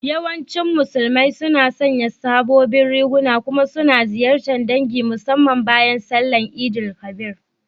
Yawancin Musulmai suna sanya sabobin riguna kuma suna ziyartar ɗangi musamman bayan sallar Eid_el Kabir.